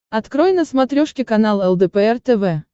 открой на смотрешке канал лдпр тв